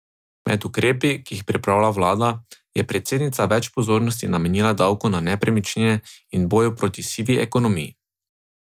Med ukrepi, ki jih pripravlja vlada, je predsednica več pozornosti namenila davku na nepremičnine in boju proti sivi ekonomiji.